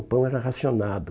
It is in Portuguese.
O pão era racionado.